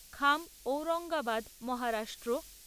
খাম ঔরঙ্গাবাদ মহারাষ্ট্র